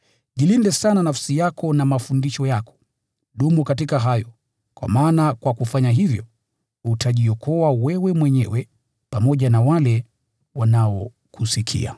Jilinde sana nafsi yako na mafundisho yako. Dumu katika hayo, kwa maana kwa kufanya hivyo, utajiokoa wewe mwenyewe pamoja na wale wanaokusikia.